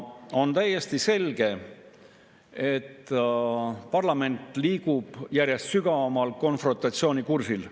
On täiesti selge, et parlament liigub järjest sügavamal konfrontatsiooni kursil.